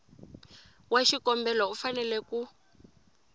wa xikombelo u fanele ku